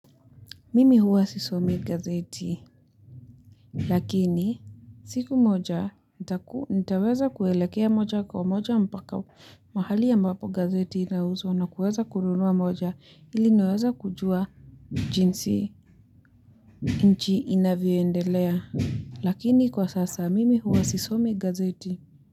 Mimi huwa sisomi gazeti, lakini siku moja nitaweza kuelekea moja kwa moja mpaka mahali ya mbapo gazeti inauzwa na kuweza kununua moja ili niweze kujua jinsi nchi inavyoendelea, lakini kwa sasa mimi huwa sisomi gazeti.